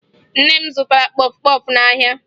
Nne m zụtara kpọfụ kpọfụ n'ahịa